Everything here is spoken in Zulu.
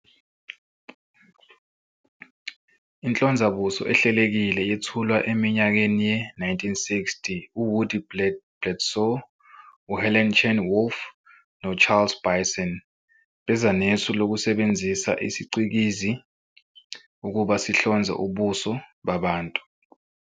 Inhlonzabuso ehlelekile yethulwa eminyakeni ye-1960. U-Woody Bledsoe, u-Helen Chan Wolf, no-Charles Bisson beza nesu lokusebenzisa isiCikizi ukuba sihlonze ubuso babantu.